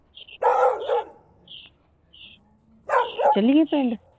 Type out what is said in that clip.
ਚੱਲੀਏ ਪਿੰਡ